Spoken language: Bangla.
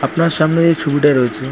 আপনার সামনে যে এই ছবিটা রয়েছে ।